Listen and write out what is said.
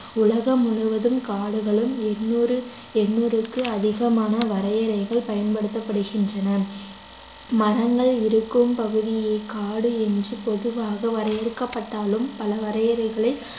உலகம் முழுவதும் காடுகளும் எண்ணூறு எண்ணூறுக்கு அதிகமான வரையறைகள் பயன்படுத்தப்படுகின்றன மரங்கள் இருக்கும் பகுதியை காடு என்று பொதுவாக வரையறுக்கப்பட்டாலும் பல வரையறைகளில்